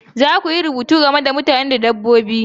Za ku yi rubutu game da mutane da dabbobi